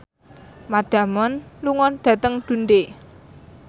Matt Damon lunga dhateng Dundee